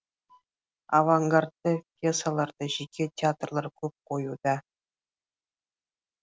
авангардты пьесаларды жеке театрлар көп қоюда